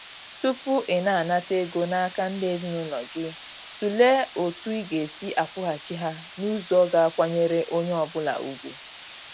Tupu ị na-anata ego n'aka ndị ezinaụlọ gị, tụlee otu ị ga-esi akwụghachi ha n'ụzọ ga a kwenyere onye ọ bụla ugwu.